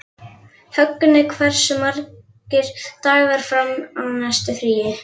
Högni, hversu margir dagar fram að næsta fríi?